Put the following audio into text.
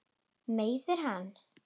Meiðir hann.